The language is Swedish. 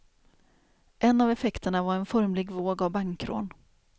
En av effekterna var en formlig våg av bankrån.